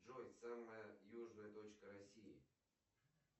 джой самая южная точка россии